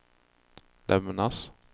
lämnas